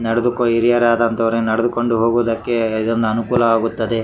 ನಡೆದು ಹಿರಿಯರಾದಂಥವರು ನಡೆಕೊಂಡು ಹೋಗುವುದಕ್ಕೆ ಇದೊಂದು ಅನುಕೂಲ ಆಗುತ್ತದೆ.